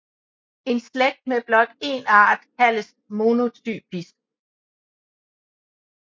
En slægt med blot en art kaldes monotypisk